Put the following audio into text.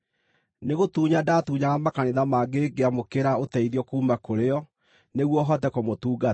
Nĩgũtunya ndaatunyaga makanitha mangĩ ngĩamũkĩra ũteithio kuuma kũrĩ o nĩguo hote kũmũtungata.